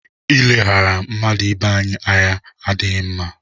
I ileghara mmadụ ibe anyị ànyị adịghị mma.